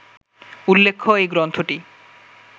উল্লেখ্য, এই গ্রন্থটি